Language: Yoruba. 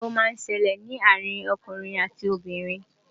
ìgbéyàwó má ń ṣẹlẹ ní àrin okùnrin àti Obìnrin